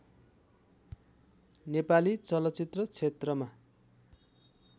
नेपाली चलचित्र क्षेत्रमा